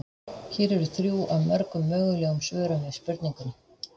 Hér eru þrjú af mörgum mögulegum svörum við spurningunni.